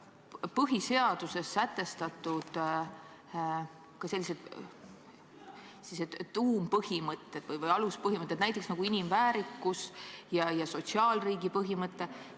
Põhiseaduses on sätestatud ka sellised tuumpõhimõtted või aluspõhimõtted nagu inimväärikus ja sotsiaalriigi põhimõte.